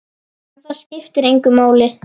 En það skiptir engu máli.